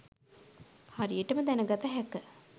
හරියටම දැන ගත හැක